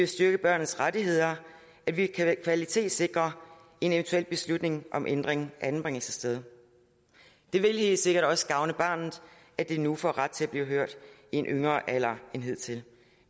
styrke børnenes rettigheder at vi kvalitetssikrer en eventuel beslutning om ændring af anbringelsessted det vil helt sikkert også gavne barnet at det nu får ret til at blive hørt i en lavere alder end hidtil